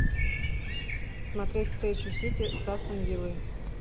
смотреть встречу сити с астон виллой